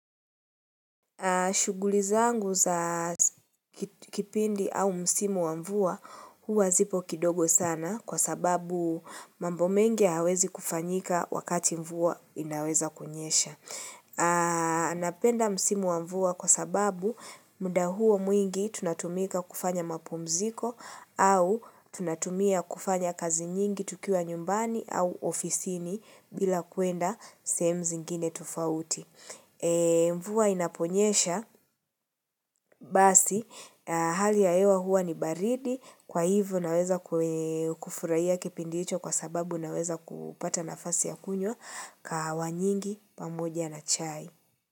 Shughuli zangu za kipindi au msimu wa mvua huwa zipo kidogo sana kwa sababu mambo mengi hayawezi kufanyika wakati mvua inaweza kunyesha. Anapenda msimu wa mvua kwa sababu muda huwa mwingi tunatumika kufanya mapumziko au tunatumia kufanya kazi nyingi tukiwa nyumbani au ofisini bila kuenda sehemu zingine tufauti. Mvua inaponyesha basi Hali ya hewa huwa ni baridi Kwa hivyo naweza kufurahia kipindi hicho Kwa sababu naweza kupata nafasi ya kunywa kahawa nyingi, pamoja na chai.